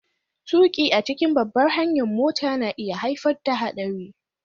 Tuki a cikin babbar hanyar mota na iya haifar da haɗari